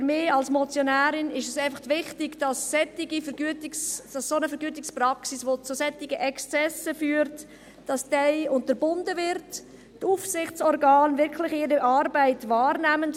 Für mich als Motionärin ist es einfach wichtig, dass solche Vergütungspraxen, dass solch eine Vergütungspraxis, die zu solchen Exzessen führt, unterbunden wird und die Aufsichtsorgane ihre Arbeit wirklich wahrnehmen.